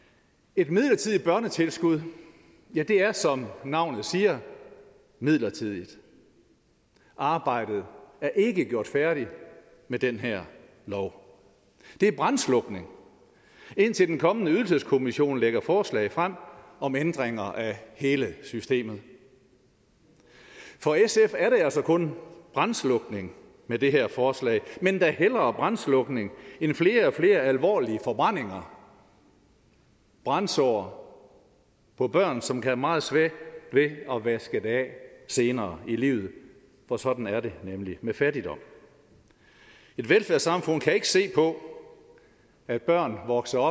et midlertidigt børnetilskud er som navnet siger midlertidigt arbejdet er ikke gjort færdigt med den her lov det er brandslukning indtil den kommende ydelseskommission lægger forslag frem om ændringer af hele systemet for sf er der altså kun brandslukning med det her forslag men da hellere brandslukning end flere og flere alvorlige forbrændinger brandsår på børn som kan have meget svært ved at vaske det af senere i livet for sådan er det nemlig med fattigdom et velfærdssamfund kan ikke se på at børn vokser